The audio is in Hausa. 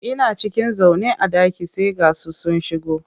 Ina cikin zaune a ɗaki sai ga su sun shigo.